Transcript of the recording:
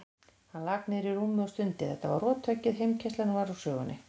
Hann lak niður á rúmið og stundi, þetta var rothöggið, heimkeyrslan var úr sögunni.